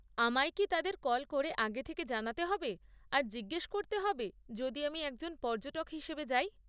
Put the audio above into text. আমায় কি তাদের কল করে আগে থেকে জানাতে হবে আর জিজ্ঞস করতে হবে যদি আমি একজন পর্যটক হিসেবে যাই?